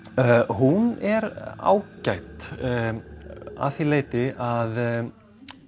hún er ágæt að því leyti að